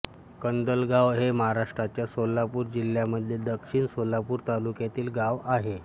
कंदलगाव हे महाराष्ट्राच्या सोलापूर जिल्ह्यामध्ये दक्षिण सोलापूर तालुक्यातील गाव आहे